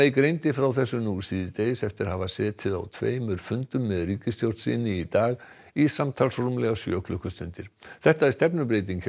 greindi frá þessu nú síðdegis eftir að hafa setið á tveimur fundum með ríkisstjórn sinni í dag í samtals rúmlega sjö klukkustundir þetta er stefnubreyting hjá